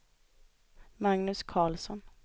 Magnus Karlsson